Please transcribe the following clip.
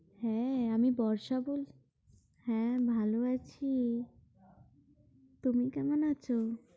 হ্যাঁ আমি বর্ষা বলছি হ্যাঁ ভালো আছি। তুমি কেমন আছো?